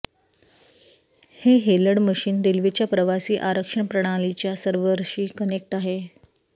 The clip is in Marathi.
हे हेलड मशीन रेल्वेच्या प्रवासी आरक्षण प्रणालीच्या सर्व्हरशी कनेक्ट आहे